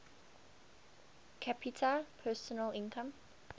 capita personal income